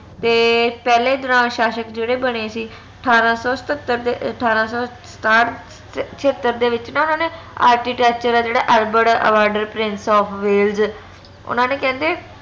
ਤੇ ਪਹਲੇ ਦੌਰਾਨ ਸ਼ਾਸ਼ਕ ਜੇਹੜੇ ਬਣੇ ਸੀ ਅਠਾਰਾਂ ਸੋ ਸਤਤਰ ਅਠਾਰਾਂ ਸੋ ਸਤਾਠ ਛਯਤਰ ਦੇ ਵਿਚ ਨਾ ਓਨਾ ਨੇ architecture ਆ ਜਿਹੜਾ albert prince of ਓਨਾ ਨੇ ਕਹਿੰਦੇ